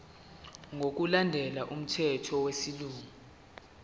ngokulandela umthetho wesilungu